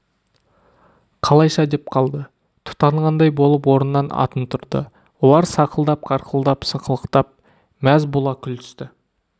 қалайша деп қалды тұтанғандай болып орнынан атын тұрды олар сақылдап қарқылдап сықылықтап мәз бола күлісті